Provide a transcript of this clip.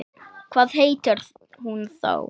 Hvað heitir hún þá?